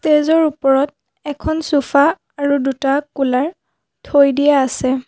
ষ্টেজৰ ওপৰত এখন ছ'ফা আৰু দুটা কুলাৰ থৈ দিয়া আছে।